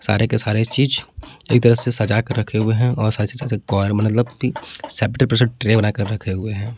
सारे के सारे चीज एक तरह से सजा के रखे हुए हैं और ट्रे बनाकर रखे हुए हैं।